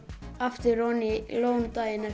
aftur oní lónið daginn